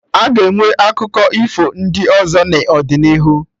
A ga-enwe akụkọ ifo ndị ọzọ n'ọdịnihu